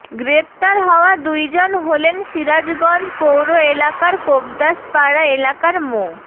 গ্রেপ্তার হওয়া দুইজন হলেন সিরাজগঞ্জ পৌর এলাকার কোবদাসপাড়া এলাকার মো